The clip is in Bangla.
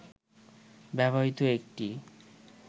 ব্যবহৃত একটি